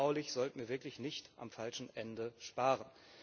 Auch baulich sollten wir wirklich nicht am falschen Ende sparen.